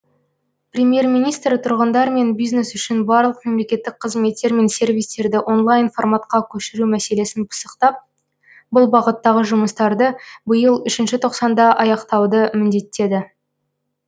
премьер министр тұрғындар мен бизнес үшін барлық мемлекеттік қызметтер мен сервистерді онлайн форматқа көшіру мәселесін пысықтап бұл бағыттағы жұмыстарды биыл үшінші тоқсанда аяқтауды міндеттеді